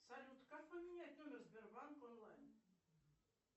салют как поменять номер сбербанк онлайн